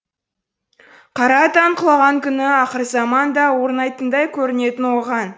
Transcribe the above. қара атан құлаған күні ақырзаман да орнайтындай көрінетін оған